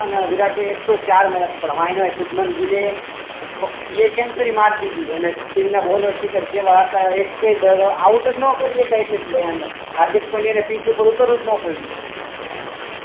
ને વિરાટે એકસો ચાર ને શુભમાન ગીલે સેન્ચુયારી માર દીધી ઓઉટ જ ના કરીએ હાર્દિક પંડ્યા ને પિચ ઉપર ઉતરવું જ ના પડ્યું